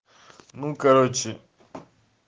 ну короче